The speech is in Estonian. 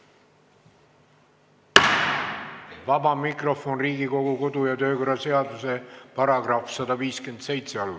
Vaba mikrofon Riigikogu kodu- ja töökorra seaduse § 157 alusel.